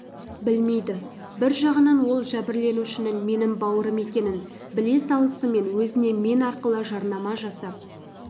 білмейді бір жағынан ол жәбірленушінің менің бауырым екенін біле салысымен өзіне мен арқылы жарнама жасап